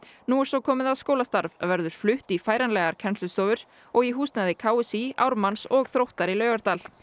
nú er svo komið að skólastarf verður flutt í færanlegar kennslustofur og í húsnæði k s í Ármanns og Þróttar í Laugardal